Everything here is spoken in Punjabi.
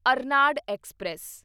ਅਰਨਾਡ ਐਕਸਪ੍ਰੈਸ